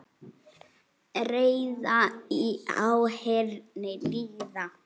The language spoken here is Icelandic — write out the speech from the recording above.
Ræða í áheyrn lýða.